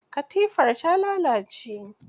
Katifar ta lalace.